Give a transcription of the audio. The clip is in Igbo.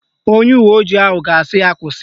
Onye uwe ojii ahụ ga-asị ya kwụsị